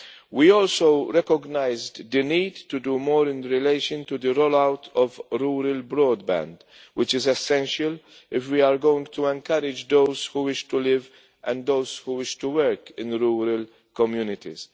We also recognised the need to do more in relation to the roll out of rural broadband, which is essential if we are going to encourage those who wish to live and those who wish to work in rural communities.